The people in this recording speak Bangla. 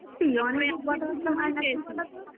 হ্যা সত্যি অনেক দিন কথা বাত্রা হয় না